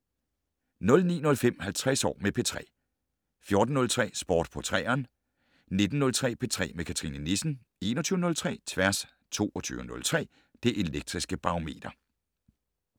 09:05: 50 år med P3 14:03: Sport på 3'eren 19:03: P3 med Cathrine Nissen 21:03: Tværs 22:03: Det Elektriske Barometer